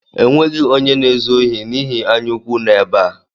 E nweghi onye na-ezu ohi n’ihi anyaụkwụ nọ ebe a